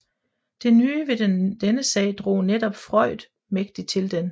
Det nye ved denne sag drog netop Freund mægtig til den